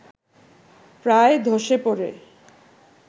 প্রায় ধসে পড়ে